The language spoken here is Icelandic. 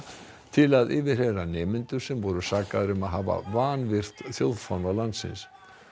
til að yfirheyra nemendur sem voru sakaðir um að hafa vanvirt þjóðfána landins